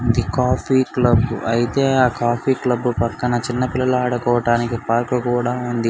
Coffee club ఐతే ఆ coffee club పక్కన చిన్న పిల్లలు ఆదుకోవోడానికి పార్క్ కూడా ఉంది.